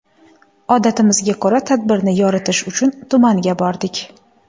Odatimizga ko‘ra tadbirni yoritish uchun tumanga bordik.